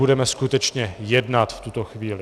Budeme skutečně jednat v tuto chvíli.